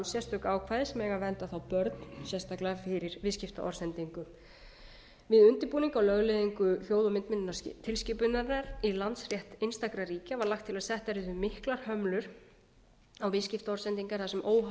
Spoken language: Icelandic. sérstök ákvæði sem eiga að vernda þá börn sérstaklega fyrir viðskiptaorðsendingum við undirbúning á lögleiðingu hljóð og myndmiðlunartilskipunarinnar í landsrétt einstakra ríkja var lagt til að settar yrðu miklar hömlur á viðskiptaorðsendingar þar sem óhollur